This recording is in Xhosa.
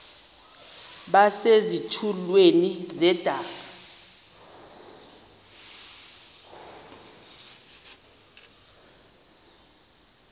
base zitulmeni zedaka